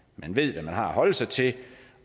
man ved hvad man har at holde sig til